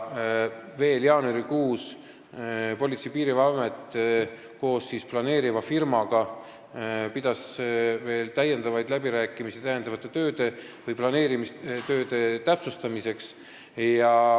Veel jaanuarikuus pidas Politsei- ja Piirivalveamet planeeriva firmaga täiendavaid läbirääkimisi planeerimistööde täpsustamiseks.